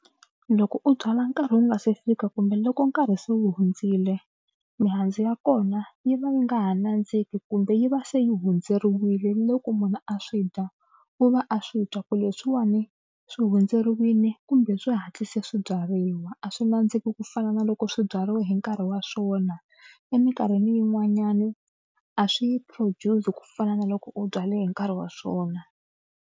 Loko u byala nkarhi wu nga se fika kumbe loko nkarhi se wu hundzile mihandzu ya kona yi va yi nga ha nandziki kumbe yi va se yi hundzeriwile ni loko munhu a swi dya u va a swi twa ku leswiwani swi hundzeriwile kumbe swi hatlise swi byariwa. A swi nandziki ku fana na loko swi byariwe hi nkarhi wa swona. Emikarhini yin'wanyana a swi produce ku fana na loko u byale hi nkarhi wa swona.